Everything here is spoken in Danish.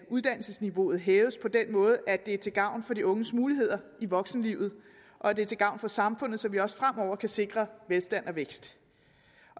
uddannelsesniveauet hæves på den måde at det er til gavn for de unges muligheder i voksenlivet og at det er til gavn for samfundet så vi også fremover kan sikre velstand og vækst